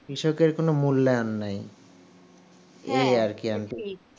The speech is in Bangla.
কৃষকের কোন মূল্যায়ন নেই এ আর কি